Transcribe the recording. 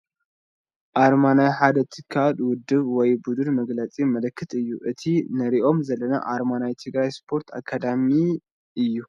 ኣርማ ናይ ሓደ ትካል፣ ውድብ ወይ ቡድን መግለፂ ምልክት እዩ፡፡ እቲ ንሪኦ ዘለና ኣርማ ናይ ትግራይ ስፖርት ኣካዳሚ ኣርማ እዩ፡፡